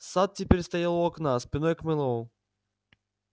сатт теперь стоял у окна спиной к мэллоу